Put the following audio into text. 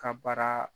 Ka baara